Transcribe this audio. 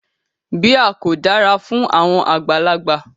Beer ko dara fun awọn agbalagba